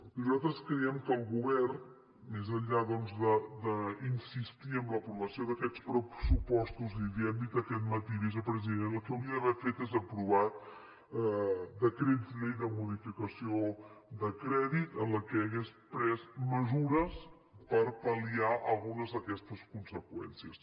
nosaltres creiem que el govern més enllà doncs d’insistir en l’aprovació d’aquests pressupostos i l’hi hem dit aquest matí vicepresident el que hauria d’haver fet és aprovar decrets llei de modificació de crèdit en què hagués pres mesures per pal·liar algunes d’aquestes conseqüències